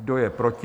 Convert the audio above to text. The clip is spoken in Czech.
Kdo je proti?